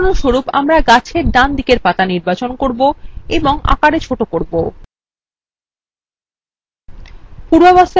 উদাহরণস্বরূপ আমরা গাছের ডান দিকের পাতা নির্বাচন করবো এবং আকার হ্রাস করবো